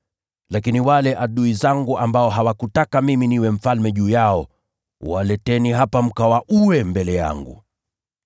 Lakini wale adui zangu ambao hawakutaka mimi niwe mfalme juu yao. Waleteni hapa mkawaue mbele yangu.’ ”